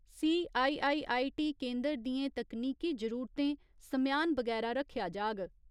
CIII. T केन्दर दियें तकनीकी जरुरतें समेयान बगैरा रक्खेआ जाग।